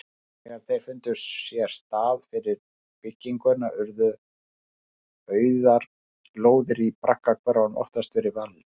Þegar þeir fundu sér stað fyrir bygginguna urðu auðar lóðir í braggahverfunum oftast fyrir valinu.